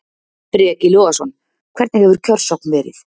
Breki Logason: Hvernig hefur kjörsókn verið?